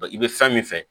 i bɛ fɛn min fɛ